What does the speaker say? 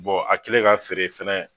a kɛlen ka feere fɛnɛ